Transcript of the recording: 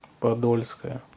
подольская